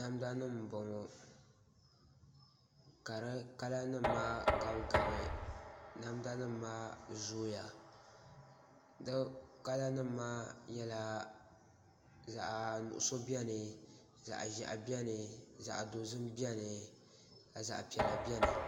Namda nim n bɔŋɔ ka di kala nim maa gabi gabi namda nim maa zooya di kala nim maa nyɛla zaɣ nuɣso biɛni zaɣ ʒiɛhi biɛni zaŋ dozim biɛni ka zaɣ piɛla biɛni